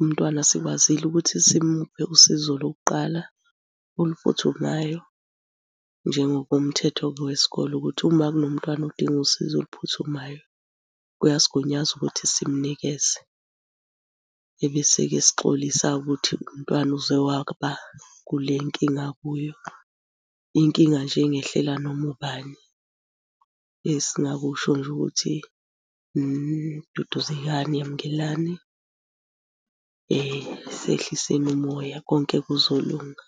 umntwana sikwazile ukuthi simuphe usizo lokuqala oluphuthumayo. Njengokomthetho-ke wesikole ukuthi uma kunomntwana odinga usizo oluphuthumayo kuyasigunyaza ukuthi simnikeze. Ebese-ke sixolisa ukuthi umntwana uze waba kule nkinga akuyo, inkinga nje engehlela noma ubani. Esingakusho nje ukuthi, duduzekani, yamukelani, sehliseni umoya konke kuzolunga.